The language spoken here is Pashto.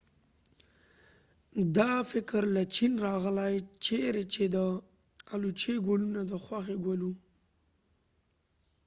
دا فکر له چین راغلی چېرې چې د الوچې ګلونه د خوښې ګل و